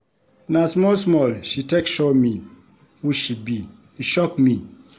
Na small-small she take show me who she be, e shock me.